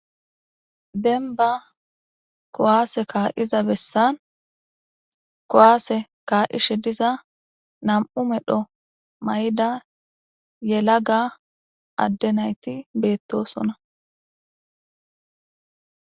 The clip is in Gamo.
denba kowaase kaa7iza bessan kowaase kaa7ishe diza nam7u medho may7ida yela ga adde nayti beettosona